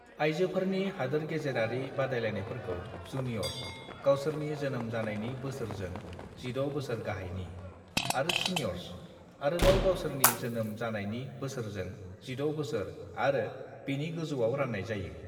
आयजोफोरनि हादोरगेजेरारि बादायलायनायफोरखौ जुनियर्स, गावसोरनि जोनोम जानायनि बोसोरजों 16 बोसोर गाहायनि; आरो सिनियर्स, आरोबाव गावसोरनि जोनोम जानायनि बोसोरजों 16 बोसोर आरो बेनि गोजौआव रान्नाय जायो।"